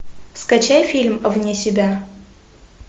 скачай фильм вне себя